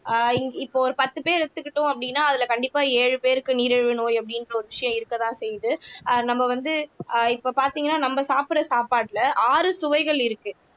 ஆஹ் இப்போ ஒரு பத்து பேர் எடுத்துக்கிட்டோம் அப்படின்னா அதுல கண்டிப்பா ஏழு பேருக்கு நீரிழிவு நோய் அப்படின்ற ஒரு விஷயம் இருக்கத்தான் செய்யுது ஆஹ் நம்ம வந்து ஆஹ் இப்ப பாத்தீங்கன்னா நம்ம சாப்பிடற சாப்பாட்டுல ஆறு சுவைகள் இருக்கு